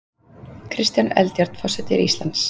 Kristján Eldjárn forseti Íslands